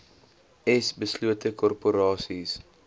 s beslote korporasies